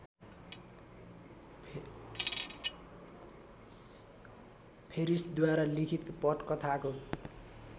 फेरिसद्वारा लिखित पटकथाको